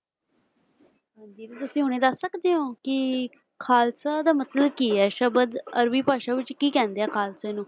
ਹਾਂਜੀ ਵੀ ਤੁਸੀਂ ਹੁਣੇ ਦੱਸ ਸਕਦੇ ਹੋ ਕਿ ਖ਼ਾਲਸਾ ਦਾ ਮਤਲਬ ਕੀ ਹੈ ਸ਼ਬਦ ਅਰਬੀ ਭਾਸ਼ਾ ਵਿੱਚ ਕੀ ਕਹਿੰਦੇ ਆ ਖ਼ਾਲਸੇ ਨੂੰ।